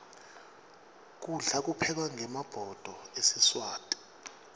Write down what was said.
kudla kuphekwa ngemabhudo esiswati